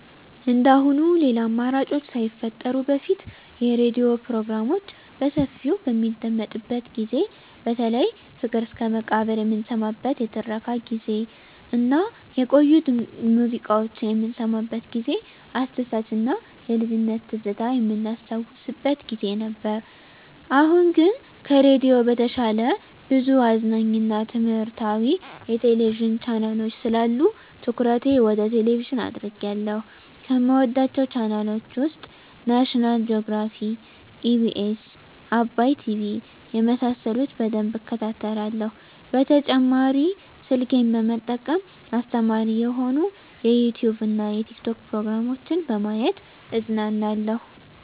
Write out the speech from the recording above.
እንደአሁኑ ሌላ አማራጮች ሳይፈጠሩ በፊት የሬዲዮ ፕሮግራሞች በሰፊው በሚደመጥበት ጊዜ በተለይ ፍቅር እስከመቃብር የምንሰማበት የትረካ ጊዜ እና የቆዩ ሙዚቃዎች የምንሰማበት ጊዜ አስደሳች እና የልጅነት ትዝታ የምናስታውስበት ጊዜ ነበር። አሁን ግን ከሬዲዮ በተሻለ ብዙ አዝናኝ እና ትምህረታዊ የቴሌቪዥን ቻናሎች ስላሉ ትኩረቴ ወደ ቴሌቭዥን አድርጌአለሁ። ከምወዳቸው ቻናሎች ውስጥ ናሽናል ጆግራፊ, ኢቢኤስ, አባይ ቲቪ የመሳሰሉት በደንብ እከታተላለሁ። በተጨማሪ ስልኬን በመጠቀም አስተማሪ የሆኑ የዩቲዉብ እና የቲክቶክ ፕሮግራሞችን በማየት እዝናናለሁ።